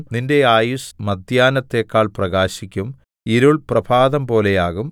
നിന്റെ ആയുസ്സ് മദ്ധ്യാഹ്നത്തെക്കാൾ പ്രകാശിക്കും ഇരുൾ പ്രഭാതംപോലെയാകും